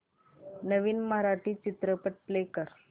नवीन मराठी चित्रपट प्ले कर